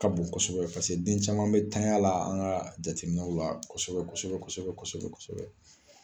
Ka bon kɔsɔbɛ paseke den caman be tanɲa la , an ka jateminɛw la kɔsɔbɛ kɔsɔbɛ kɔsɔbɛ.